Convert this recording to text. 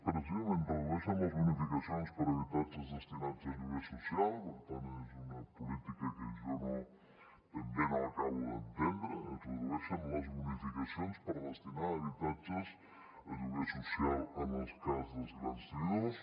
precisament redueixen les bonificacions per habitatges destinats a lloguer social per tant és una política que jo ben bé no acabo d’entendre es redueixen les bonificacions per destinar habitatges a lloguer social en el cas dels grans tenidors